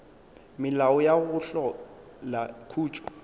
melao ya go hlola khutšo